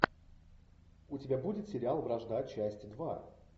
у тебя будет сериал вражда часть два